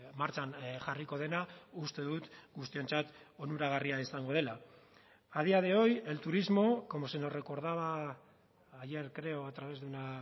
martxan jarriko dena uste dut guztiontzat onuragarria izango dela a día de hoy el turismo como se nos recordaba ayer creo a través de una